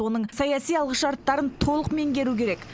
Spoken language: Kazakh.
оның саяси алғышарттарын толық меңгеру керек